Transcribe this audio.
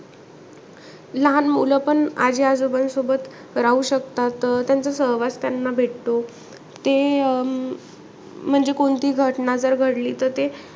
लहान मुलं पण आजी-आजोबांसोबत राहू शकतात. त्यांचा सहवास त्यांना भेटतो. ते अं म्हणजे कोणती घटना जर घडली तर ते,